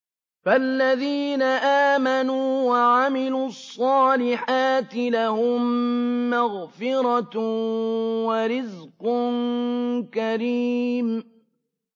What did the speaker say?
فَالَّذِينَ آمَنُوا وَعَمِلُوا الصَّالِحَاتِ لَهُم مَّغْفِرَةٌ وَرِزْقٌ كَرِيمٌ